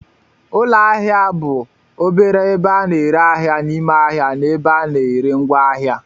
Ụlọ ahịa ahịa bụ obere ebe a na-ere ahịa n'ime ahịa ebe a na-ere ngwaahịa.